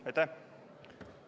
Aitäh!